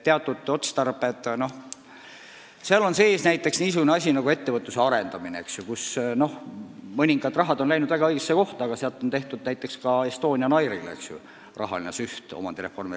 Selles loetelus on sees näiteks niisugune asi nagu ettevõtluse arendamine, mille raames mõningad summad on läinud väga õigesse kohta, aga omandireformi reservfondist on tehtud näiteks ka rahasüst Estonian Airile.